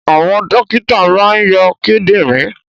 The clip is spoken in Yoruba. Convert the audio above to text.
Àwọn dókítà máa ń yọ kidinrin